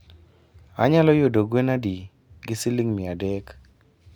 anyalo yudo gwen adi gi siling miadek?